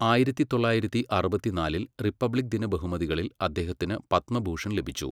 ആയിരത്തി തൊള്ളായിരത്തി അറുപത്തിനാലിൽ റിപ്പബ്ലിക് ദിന ബഹുമതികളിൽ അദ്ദേഹത്തിന് പത്മഭൂഷൺ ലഭിച്ചു.